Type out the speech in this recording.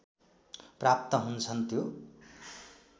प्राप्त हुन्छन् त्यो